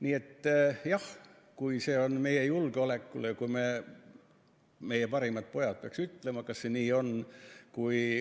Nii et jah, kui see on meie julgeoleku pärast – meie parimad pojad peaks ütlema, kas see nii on –.